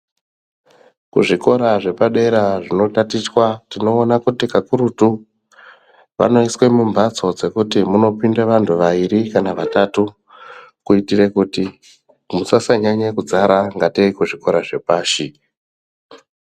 Kuzvikora zvepadera zvinotatichwa tinoona kuti kakurutu vanoiswe mumhatso dzekuti munopinde vantu vairi kana vatatu kuitire kuti musasanyanye kudzara kunge kuzvikora zvepashi.